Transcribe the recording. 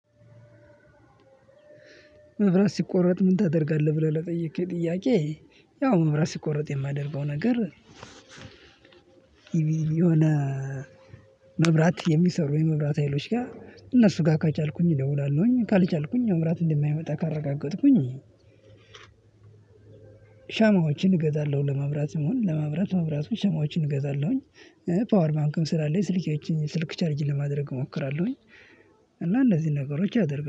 መብራት ሲቆረጥ ምን ታደርጋለህ? ብለህ ለጠየቅከኝ ጥያቄ ያው መብራት ሲቆረጥ የማደርገው ነገር። የቤ የሆነ መብራት የሚሰሩ የመብራት ሀይሎች ጋር እነሱ ጋር ከቻልኩኝ እደውላለሁኝ ካልቻልኩኝ መብራት እንደማይመጣ ካረጋገጥኩኝ። ሻማዎችን እገዛለሁ ለመብራት እሚሆን ለመብራት መብራቶች ሻማዎችን እገዛለሁኝ። ፓወር ባንክም ስላለኝ ስልኬን ስልክ ቻርጅ ለማድረግ እሞክራለሁኝ። እና እንዚህን ነገሮች አደርጋ